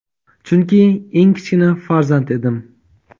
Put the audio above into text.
chunki eng kichkina farzand edim.